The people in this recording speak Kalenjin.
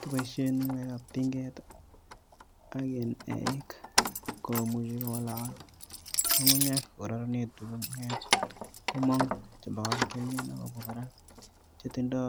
Kipoishen ng'alekap tinket, ak um eik komuchi kowalawal ng'ung'unyek korororonitu kong'et komong chepo kapkelyen akobwa barak chetindo